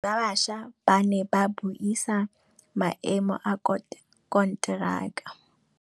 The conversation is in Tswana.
Badiri ba baša ba ne ba buisa maêmô a konteraka.